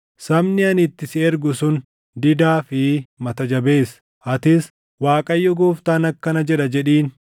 Sabni ani itti si ergu sun didaa fi mata jabeessa. Atis, ‘ Waaqayyo Gooftaan akkana jedha’ jedhiin.